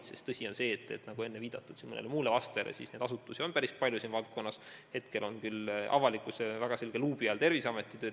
Nagu enne sai mõnele muule küsijale vastates viidatud, ministeeriumi haldusalas on päris mitu asutust, aga hetkel on avalikkuse selge luubi all Terviseameti töö.